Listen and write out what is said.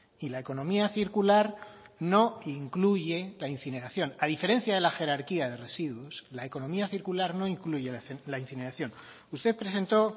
y la economía circular no incluye la incineración a diferencia de la jerarquía de residuos la economía circular no incluye la incineración usted presentó